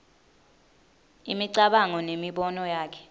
imicabango nemibono yakhe